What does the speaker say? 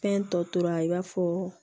Fɛn tɔ tora i b'a fɔ